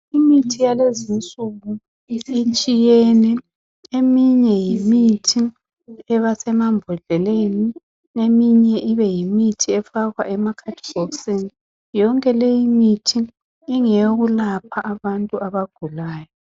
Imithi yalezi insuku itshiyene , eminye yimithi eba semambhodleleni, eminye ibe yimithi efakwa emakhadibhokisini, yonke leyi mithi ingeyokulapha abantu abagulayo.